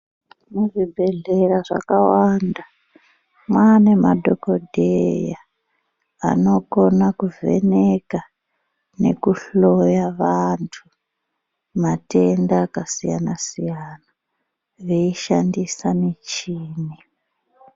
Muzvibhedhlera zvakawanda mava nemadhokodheya anokona kuvheneka nekuhloya vantu matenda akasiyana-siyana veishandisa michini.